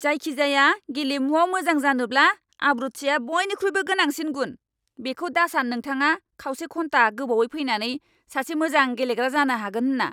जायखिजाया गेलेमुआव मोजां जानोब्ला आब्रुथिआ बइनिख्रुइबो गोनांसिन गुन! बेखौ दासान नोंथाङा खावसे घन्टा गोबावै फैनानै सासे मोजां गेलेग्रा जानो हागोन होन्ना!